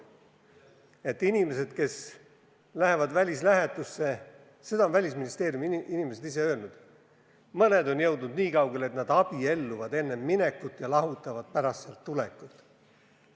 Mõned inimesed, kes lähevad välislähetusse – seda on Välisministeeriumi inimesed ise öelnud –, on jõudnud niikaugele, et nad abielluvad enne minekut ja lahutavad pärast sealt tulekut.